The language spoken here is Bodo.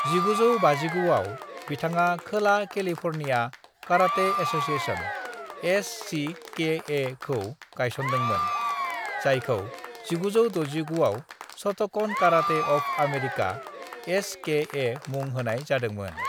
"1959 आव, बिथाङा खोला कैलिफोर्निया कराटे एसोसिएशन (एससीकेए) खौ गायसनदोंमोन, जायखौ1969 आव शोटोकन कराटे ऑफ अमेरिका (एसकेए) मुं होनाय जादोंमोन।"